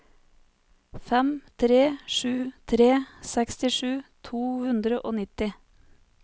fem tre sju tre sekstisju to hundre og nitti